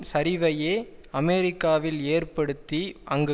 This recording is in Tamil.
சரிவையே அமெரிக்காவில் ஏற்படுத்தி அங்கு